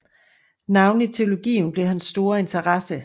Navnlig teologien blev hans store interesse